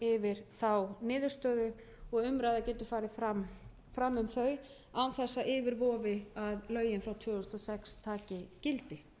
yfir þá niðurstöðu og umræða getur farið fram um þau án þess að yfir vofi að lögin frá tvö þúsund og sex taki gildi